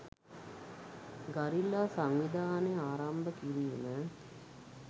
Guerrilla සංවිධානය ආරම්භ කිරීම.